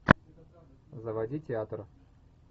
заводи театр